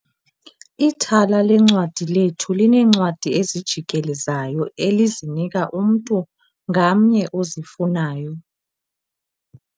Ithala leencwadi lethu lineencwadi ezijikelezayo elizinika umntu ngamnye ozifunayo.